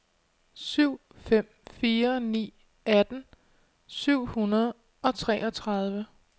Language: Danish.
syv fem fire ni atten syv hundrede og treogtredive